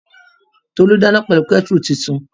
Tolú dáná pẹ̀lú kẹ́tùrù tuntun